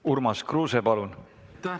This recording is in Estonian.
Urmas Kruuse, palun!